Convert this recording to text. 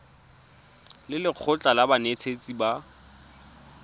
le lekgotlha la banetetshi ba